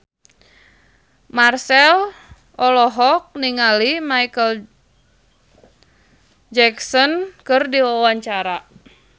Marchell olohok ningali Micheal Jackson keur diwawancara